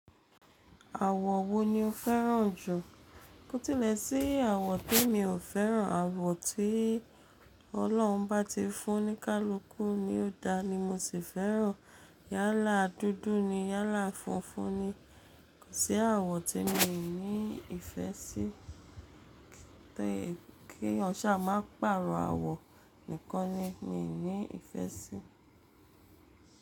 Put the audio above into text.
Àwọ̀ wo ni o fẹ́ràn jù? Kó tilẹ̀ sí àwọ̀ tí mi ò fẹ́ràn, àwọ̀ tí Ọlọ́run bá ti fún oníkálúkú ní ó dá ni mo sì fẹ́ràn. Yálà dúdú ni, yálà funfun ni, kó sí àwọ̀ tí mi ò ní ìfẹ́ sí. Kí eeyan ṣà máa pàrọ̀ àwọ̀ nìkan ni mi ò ní ìfẹ́ sí.